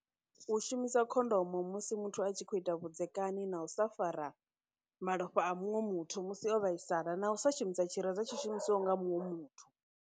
U shumisa khondomo musi muthu a tshi khou ita vhudzekani, na u sa fara malofha a munwe muthu musi o vhaisala, na u sa shumisa tshireza tsho shumisiwaho nga muṅwe muthu.